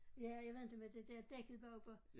Ja jeg ved inte med det dér dækket bagpå